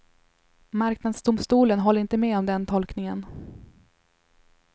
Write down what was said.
Marknadsdomstolen håller inte med om den tolkningen.